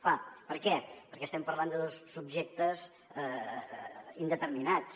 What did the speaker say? clar per què perquè estem parlant de dos subjectes indeterminats